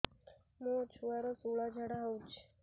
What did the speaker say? ମୋ ଛୁଆର ସୁଳା ଝାଡ଼ା ହଉଚି